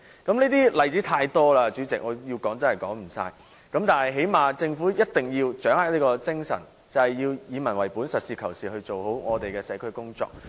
這些例子太多了，主席，我要說也說不完，但最低限度政府必須掌握以民為本的精神，實事求是做好社區工作。